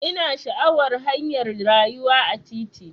Ina sha'awar hanyar rayuwa a titi.